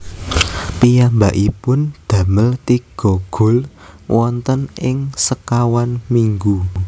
Piyambakipun damel tiga gol wonten ing sekawan minggu